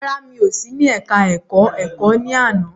Rárá, mi ò sí ní ẹka ẹ̀kọ́ ẹ̀kọ́ ní àná.